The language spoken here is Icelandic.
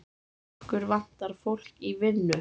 Okkur vantar fólk í vinnu.